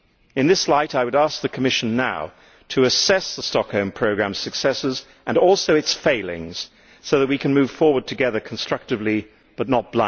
In this light I would ask the Commission now to assess the Stockholm Programme's successes and also its failings so that we can move forward together constructively but not